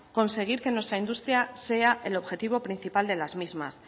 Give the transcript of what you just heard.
conseguir que nuestra industria sea el objetivo principal de las mismas